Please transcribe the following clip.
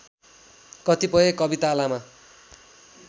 कतिपय कविता लामा